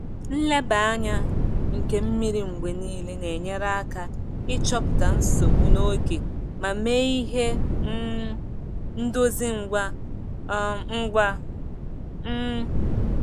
Nleba anya nke mmiri mgbe niile na-enyere aka ịchọpụta nsogbu n'oge ma mee ihe um ndozi ngwa um ngwa. um